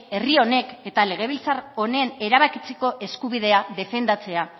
herri honek eta legebiltzar honen erabakitzeko eskubidea defendatzea